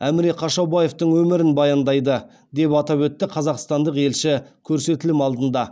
әміре қашаубаевтың өмірін баяндайды деп атап өтті қазақстандық елші көрсетілім алдында